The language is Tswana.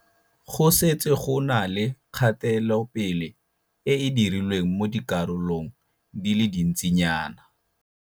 Go setse go na le kgatelopele e e dirilweng mo dikarolong di le dintsinyana.